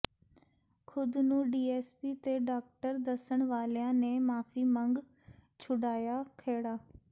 ਖ਼ੁਦ ਨੂੰ ਡੀਐੱਸਪੀ ਤੇ ਡਾਕਟਰ ਦੱਸਣ ਵਾਲਿਆਂ ਨੇ ਮਾਫੀ ਮੰਗ ਛੁਡਾਇਆ ਖਹਿੜਾ